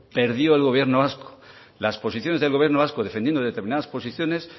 perdió el gobierno vasco las posiciones del gobierno vasco defendiendo determinadas posiciones